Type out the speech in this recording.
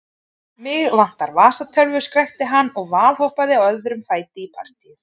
Mig vantar vasatölvu, skrækti hann og valhoppaði á öðrum fæti í partýið.